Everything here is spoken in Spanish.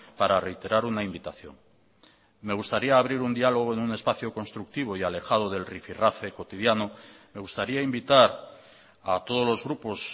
para reiterar una invitación me gustaría abrir un diálogo en un espacio constructivo y alejado del rifirrafe cotidiano me gustaría invitar a todos los grupos